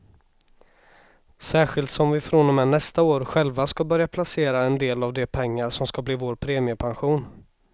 Särskilt som vi från och med nästa år själva ska börja placera en del av de pengar som ska bli vår premiepension.